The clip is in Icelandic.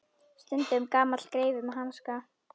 Stundum gamall greifi með hanska.